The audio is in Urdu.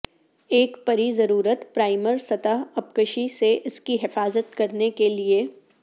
ایک پری ضرورت پرائمر سطح اپکشی سے اس کی حفاظت کرنے کے لئے